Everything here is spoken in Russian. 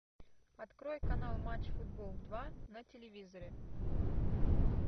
открой канал матч футбол два на телевизоре